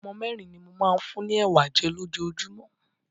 Ọmọ mẹ́rin ni mo máa ń fún ni Ẹ̀wà jẹ́ lójoojúmọ́.